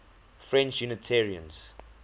french unitarians